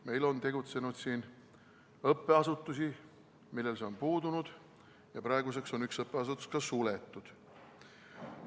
Meil on tegutsenud õppeasutusi, millel see on puudunud, ja praeguseks on üks õppeasutus ka suletud.